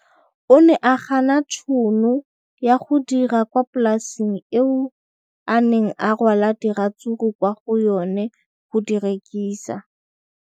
O ne a gana tšhono ya go dira kwa polaseng eo a neng rwala diratsuru kwa go yona go di rekisa.